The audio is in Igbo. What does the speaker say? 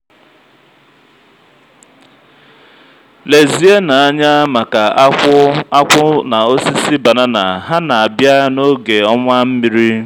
lezienụ anya maka akwụ akwụ na osisi banana ha na-abịa n'oge ọnwa mmiri.